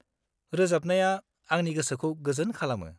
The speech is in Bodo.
-रोजाबनाया आंनि गोसोखौ गोजोन खालामो।